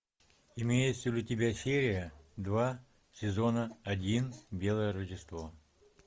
имеется ли у тебя серия два сезон один белое рождество